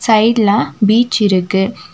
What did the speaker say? சைட்ல பீச் இருக்கு.